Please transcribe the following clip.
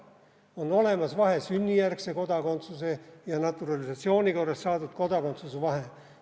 On olemas vahe sünnijärgse kodakondsuse ja naturalisatsiooni korras saadud kodakondsuse vahel.